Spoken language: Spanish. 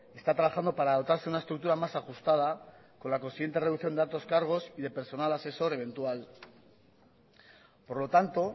está trabajando para dotarse de una estructura más ajustada con la consiguiente reducción de altos cargos y de personal asesor eventual por lo tanto